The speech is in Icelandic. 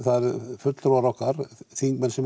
fulltrúar okkar þingmenn sem